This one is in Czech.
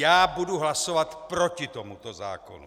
Já budu hlasovat proti tomuto zákonu!